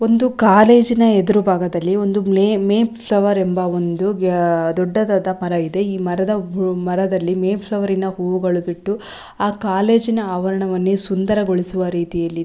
ಒಂದು ಕಾಲೇಜಿನ ಹೆದುರು ಭಾಗದಲ್ಲಿ ಒಂದು ಮೇನ್ ಫ್ಲವರ್ ಎಂಬ ಒಂದು ದೊಡ್ಡದಾದ ಮರ ಇದೆ ಮರದ ಮುಂದೆ ಹೇ ಮರದಲ್ಲಿ ಮೇನ್ ಫ್ಲವರ್ ನ ಹೂಗಳನ್ನು ಬಿಟ್ಟು ಆ ಕಾಲೇಜಿನ ಆವರಣವನ್ನೇ ಒಂದೇ ಸುಂದರಗೊಳಿಸುವ ರೀತಿ--